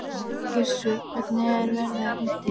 Gissur, hvernig er veðrið úti?